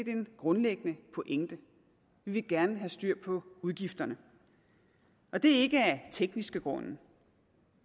en grundlæggende pointe vi vil gerne have styr på udgifterne og det er ikke af tekniske grunde